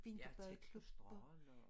Ja tæt på strøget og